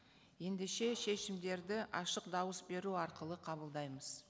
ендеше шешімдерді ашық дауыс беру арқылы қабылдаймыз